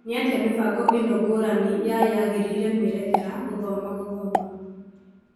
Nĩatĩa mĩbango ĩno ngũrani ya yagĩrĩire mĩerekera gũthoma gũthoma ?